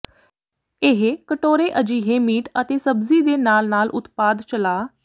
ਇਹ ਕਟੋਰੇ ਅਜਿਹੇ ਮੀਟ ਅਤੇ ਸਬਜ਼ੀ ਦੇ ਨਾਲ ਨਾਲ ਉਤਪਾਦ ਚਲਾ